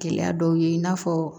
Gɛlɛya dɔw ye i n'a fɔ